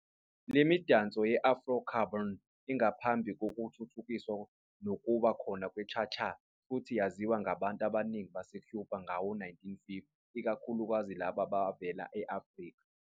Lemidanso ye-Afro-Cuban ingaphambi kokuthuthukiswa nokuba khona kwe-cha-cha futhi yayaziwa ngabantu abaningi baseCuba ngawo-1950, ikakhulukazi labo abavela e-Afrika.